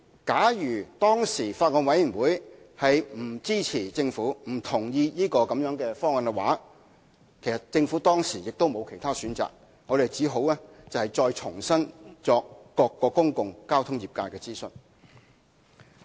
假如當時法案委員會不支持政府或不同意這方案，政府亦別無選擇，唯有重新再向各個公共交通業界進行諮詢。